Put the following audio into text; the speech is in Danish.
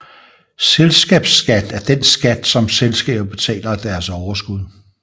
Selskabsskat er den skat som selskaber betaler af deres overskud